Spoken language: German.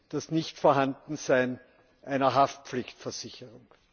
das Nichtvorhandensein einer Haftpflichtversicherung.